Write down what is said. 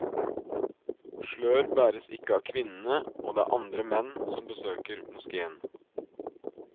Slør bæres ikke av kvinnene, og det er andre menn som besøker moskéen.